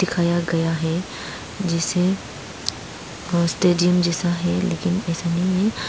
दिखाया गया है जिसे होस्टेजिंग जैसा है।